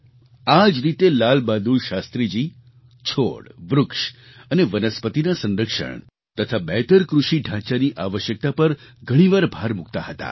આ જ રીતે લાલ બહાદુર શાસ્ત્રીજી છોડ વૃક્ષ અને વનસ્પતિના સંરક્ષણ તથા બહેતર કૃષિ ઢાંચાની આવશ્યકતા પર ઘણીવાર ભાર મૂકતા હતા